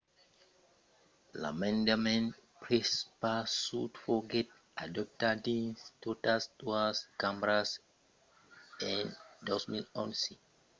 l'emendament prepausat foguèt adoptat dins totas doas cambras en 2011